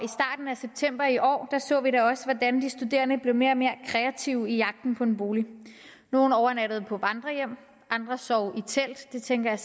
af september i år så vi da også hvordan de studerende blev mere og mere kreative i jagten på en bolig nogle overnattede på vandrerhjem andre sov i telt det tænker jeg